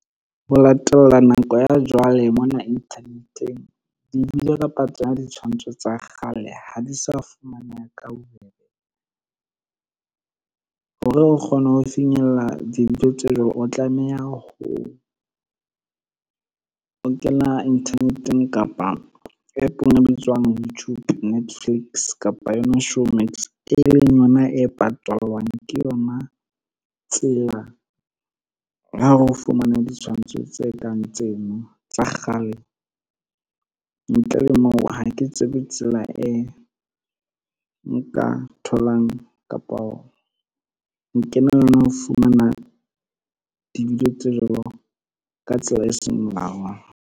Ho latela nako ya jwale mona internet-eng di-video kapa tsona ditshwantsho tsa kgale ha di sa fumaneha ka bobebe, hore re kgone ho finyella dintho tseo o tlameha ho o kena internet-eng kapa app-ong e bitswang Youtube, Netflix kapa yona Showmax e leng yona e patalwang. Ke yona tsela yao re o fumane ditshwantsho tse kang tseno tsa kgale, ntle le moo ha ke tsebe tsela e nka tholang kapo ho fumana di-video tse jwalo ka tsela e seng molaong.